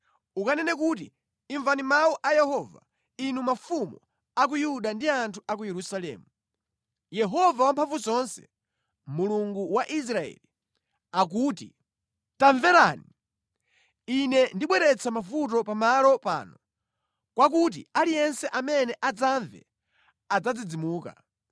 Ukanene kuti, ‘Imvani mawu a Yehova, inu mafumu a ku Yuda ndi anthu a ku Yerusalemu. Yehova Wamphamvuzonse, Mulungu wa Israeli, akuti: Tamverani! Ine ndibweretsa mavuto pa malo pano mwakuti aliyense amene adzamve adzadzidzimuka.